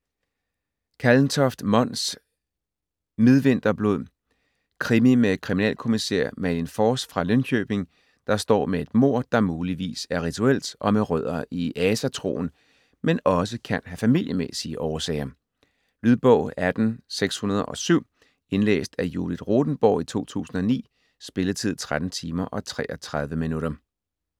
Kallentoft, Mons: Midvinterblod Krimi med kriminalkommissær Malin Fors fra Linköping, der står med et mord, der muligvis er rituelt og med rødder i asatroen, men også kan have familiemæssige årsager. Lydbog 18607 Indlæst af Judith Rothenborg, 2009. Spilletid: 13 timer, 33 minutter.